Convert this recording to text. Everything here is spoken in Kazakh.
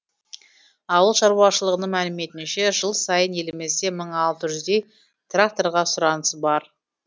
ауыл шаруашылығының мәліметінше жыл сайын елімізде мың алты жүздей тракторға сұраныс бар